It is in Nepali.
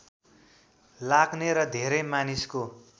लाग्ने र धेरै मानिसको